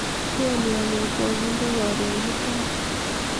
twolyonyun ko koginde korun mutai